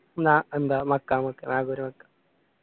എന്ന എന്താന്ന് മഖാം